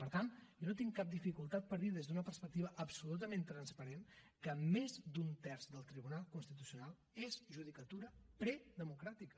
per tant jo no tinc cap dificultat per dir des d’una perspectiva absolutament transparent que més d’un terç del tribunal constitucional és judicatura predemocràtica